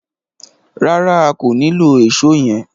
Rárá, a kò nilò Èṣó yẹn.